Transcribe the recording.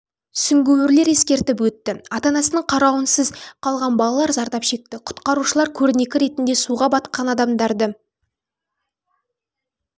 сүңгуірлер ескертіп өтті ата-анасының қаруынсыз қалған балалар зардап шекті құтқарушылар көрнекі ретінде суға батқан адамдарды